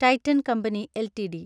Titan company LTD